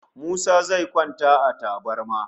Musa zai kwanta a tabarma